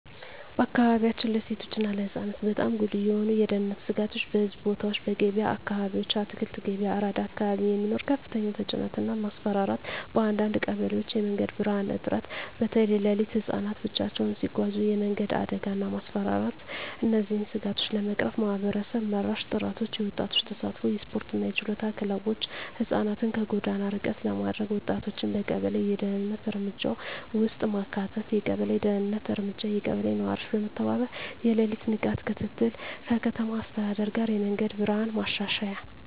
በአካባቢያችን ለሴቶች እና ለህፃናት በጣም ጉልህ የሆኑ የደህንነት ስጋቶች :- በሕዝብ ቦታዎች *በገበያ አካባቢዎች (አትክልት ገበያ፣ አራዳ አካባቢ) የሚኖር ከፍተኛ ተጭነት እና ማስፈራራት *በአንዳንድ ቀበሌዎች የመንገድ ብርሃን እጥረት (በተለይ ሌሊት) *ህፃናት ብቻቸውን ሲጓዙ የመንገድ አደጋ እና ማስፈራራት እነዚህን ስጋቶች ለመቅረፍ ማህበረሰብ መራሽ ጥረቶች :- የወጣቶች ተሳትፎ *የስፖርትና የችሎታ ክለቦች (ህፃናትን ከጎዳና ርቀት ለማድረግ) *ወጣቶችን በቀበሌ የደህንነት እርምጃ ውስጥ ማካተት የቀበሌ ደህንነት እርምጃ *የቀበሌ ነዋሪዎች በመተባበር የሌሊት ንቃት ክትትል *ከከተማ አስተዳደር ጋር የመንገድ ብርሃን ማሻሻያ